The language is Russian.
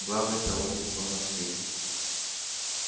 главный-то умница у нас ты